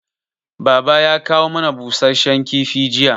Baba ya kawo mana busasshen kifi jiya